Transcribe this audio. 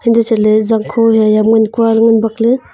untoh chatley zangkho haiya eya ham kualey ngan bakley.